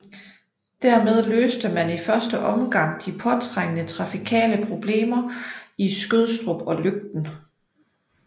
Der med løste man i første omgang de påtrængende trafikale problemer i Skødstrup og Løgten